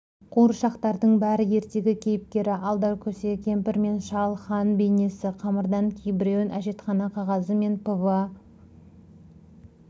қауыршақтардың бәрі ертегі кейіпкері алдаркөсе кемпір мен шал хан бейнесі қамырдан кейбіреуін әжетхана қағазы мен пва